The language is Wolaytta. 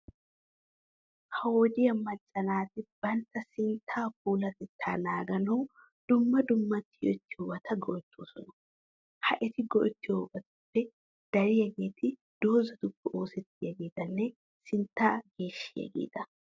Ha wodiya Macca naati bantta sinttaa puulatettaa naaganawu dumma dumma tiyettiyobata go"ettoosona. Ha eti go'ettiyobatuppe dariyageeti dozatuppe oosettiyageetanne sinttaa geeshshiyageeta.